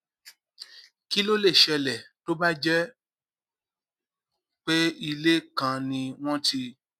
kí ló lè ṣẹlè tó bá jé pé ilé kan ni wón ti